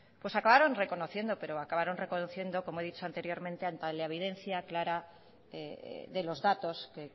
acabaron reconociendo pero acabaron reconociendo como he dicho anteriormente ante la evidencia clara de los datos que